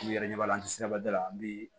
U yɛrɛ ɲɛ b'a la an tɛ se ba da la an bɛ